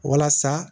Walasa